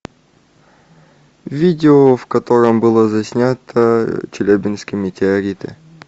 видео в котором было заснято челябинские метеориты